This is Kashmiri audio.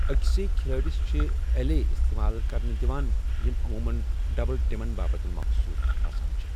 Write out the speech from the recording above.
اَکسٕیہ كھِلٲڈِس چھِ ایلے استمال كرنہٕ دِوان یِم عمومن ڈبل ٹِمن باپت مخصوص آسان چھِ ۔